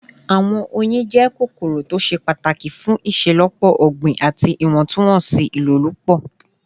Awọn oyin jẹ awọn kokoro to ṣe pataki fun iṣelọpọ ogbin ati iwọntunwọnsi ilolupo